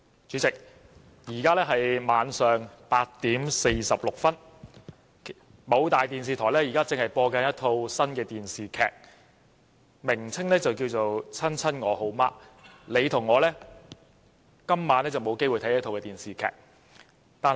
主席，現在是晚上8時46分，某大電視台正播放一套新電視劇，劇集名為"親親我好媽"，你和我今晚都沒有機會看這齣電視劇。